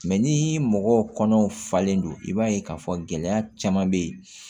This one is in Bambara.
Mɛ ni mɔgɔw kɔnɔw falen don i b'a ye k'a fɔ gɛlɛya caman bɛ yen